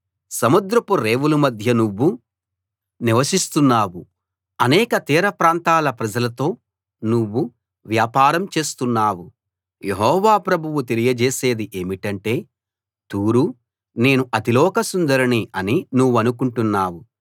సముద్రపు రేవుల మధ్య నువ్వు నివసిస్తున్నావు అనేక తీరప్రాంతాల ప్రజలతో నువ్వు వ్యాపారం చేస్తున్నావు యెహోవా ప్రభువు తెలియజేసేది ఏమిటంటే తూరూ నేను అతిలోక సుందరిని అని నువ్వనుకుంటున్నావు